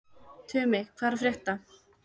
Tumi, hvað er að frétta?